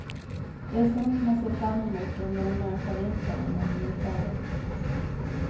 Det är sånt man ser fram emot under den mörka vintern om man bor i förort.